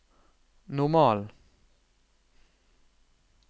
normal